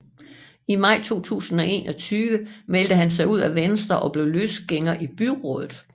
I maj 2021 meldte han sig ud af Venstre og blev løsgænger i byrådet